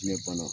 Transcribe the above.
Ɲɛ banna